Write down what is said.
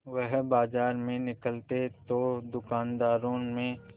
वह बाजार में निकलते तो दूकानदारों में